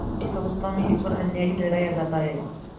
उस अवस्था में ईश्वर अन्यायी ठहराया जाता है